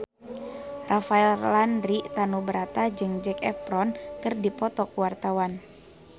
Rafael Landry Tanubrata jeung Zac Efron keur dipoto ku wartawan